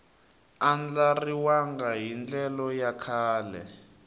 andlariwangi hi ndlela ya kahle